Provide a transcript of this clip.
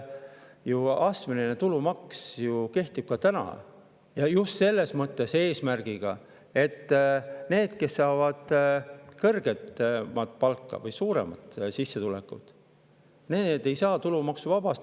Astmeline tulumaks kehtib ju ka täna, just selle eesmärgiga, et need, kes saavad kõrgemat palka või kellel on suurem sissetulek, ei saa tulumaksuvabastust.